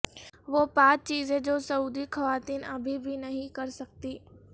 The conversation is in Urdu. وہ پانچ چیزیں جو سعودی خواتین ابھی بھی نہیں کر سکتیں